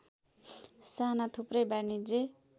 साना थुप्रै वाणिज्य